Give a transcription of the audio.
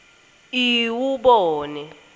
iwubone